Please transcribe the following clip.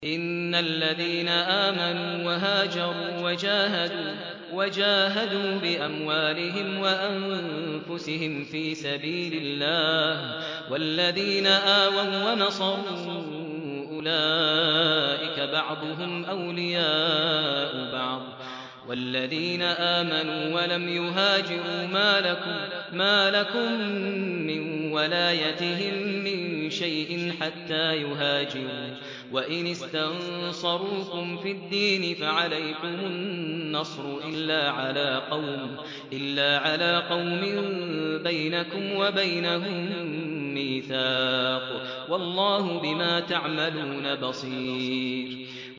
إِنَّ الَّذِينَ آمَنُوا وَهَاجَرُوا وَجَاهَدُوا بِأَمْوَالِهِمْ وَأَنفُسِهِمْ فِي سَبِيلِ اللَّهِ وَالَّذِينَ آوَوا وَّنَصَرُوا أُولَٰئِكَ بَعْضُهُمْ أَوْلِيَاءُ بَعْضٍ ۚ وَالَّذِينَ آمَنُوا وَلَمْ يُهَاجِرُوا مَا لَكُم مِّن وَلَايَتِهِم مِّن شَيْءٍ حَتَّىٰ يُهَاجِرُوا ۚ وَإِنِ اسْتَنصَرُوكُمْ فِي الدِّينِ فَعَلَيْكُمُ النَّصْرُ إِلَّا عَلَىٰ قَوْمٍ بَيْنَكُمْ وَبَيْنَهُم مِّيثَاقٌ ۗ وَاللَّهُ بِمَا تَعْمَلُونَ بَصِيرٌ